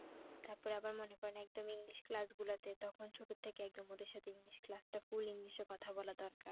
তারপরে আবার মনে করেন একদম english class গুলাতে তখন ছোট থেকে একদম ওদের সাথে english class টা full english এ কথা বলা দরকার